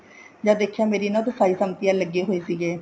ਜਦ ਦੇਖਿਆ ਮੇਰੇ ਇਹਨਾ ਚ ਲੱਗੇ ਹੋਏ ਸੀਗੇ